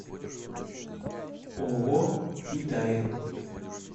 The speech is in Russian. ооо битайр